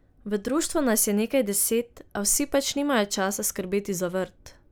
V društvu nas je nekaj deset, a vsi pač nimajo časa skrbeti za vrt.